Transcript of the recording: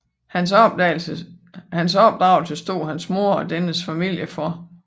Hans opdragelse stod hans mor og dennes familie for